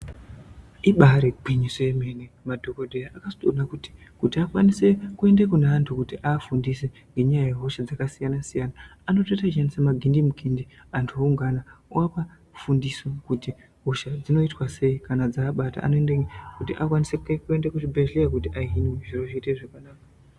Ibari gwinyiso yemene madhokodheya akazotoona kuti kuti akwanise kuenda kune antu aafundise ngenyaya yehosha yakasiyana siyana anotoita echiendese magindi mukindi antu oungana oapa fundiso kuti hosha dzinoitwa sei kana dzaabata anoendemwo kuti akwanise kuende kuzvibhedhlera kuti ahinwe zviro zvoite zvakanaka.